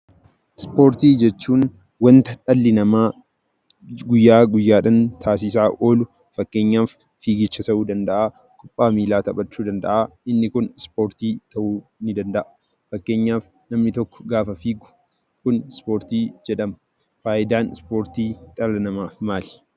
Ispoortii jechuun wanta dhalli namaa guyyaa guyyaadhaan taasisaa oolu. Fakkeenyaaf fiigicha ta'uu danda'a, kubbaa miilaa taphachuu ta'uu danda'a. Inni kun Ispoortii ta'uu ni danda'a. Fakkeenyaaf namni tokko gaafa fiigu kun ispoortii jedhama. Faayidaan Ispoortii dhala namaaf maali?